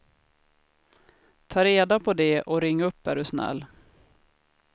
Ta reda på det och ring upp är du snäll.